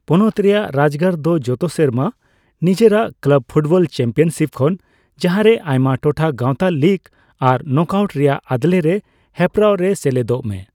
ᱯᱚᱱᱚᱛ ᱨᱮᱭᱟᱜ ᱨᱟᱡᱽ ᱜᱟᱨ ᱫᱚ ᱡᱚᱛᱚ ᱥᱮᱨᱢᱟ ᱱᱤᱡᱮᱨᱟᱜ ᱠᱞᱟᱵ ᱯᱷᱩᱴᱵᱚᱞ ᱪᱟᱯᱢᱤᱭᱟᱱᱥᱤᱯ ᱠᱷᱚᱱ ᱡᱟᱦᱟᱨᱮ ᱟᱭᱢᱟ ᱴᱚᱴᱷᱟ ᱜᱟᱣᱛᱟ ᱞᱤᱠ ᱟᱨ ᱱᱚᱠᱟᱩᱴ ᱨᱮᱭᱟᱜ ᱟᱫᱞᱮ ᱨᱮ ᱦᱮᱯᱨᱟᱣ ᱨᱮ ᱥᱮᱞᱮᱫᱚᱜ ᱢᱮ ᱾